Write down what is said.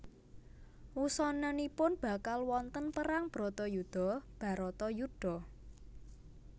Wusananipun bakal wonten perang Bratayuda Bharatayuddha